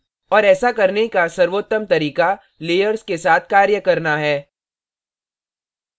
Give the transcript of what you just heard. और ऐसा करने का सर्वोत्तम तरीका layers के साथ कार्य करना है